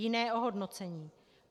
Jiné ohodnocení.